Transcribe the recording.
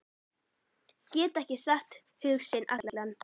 Geta ekki sagt hug sinn allan.